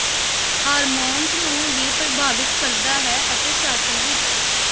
hormones ਨੂੰ ਵੀ ਪ੍ਰਭਾਵਿਤ ਕਰਦਾ ਹੈ ਅਤੇ ਛਾਤੀ ਵਿੱਚ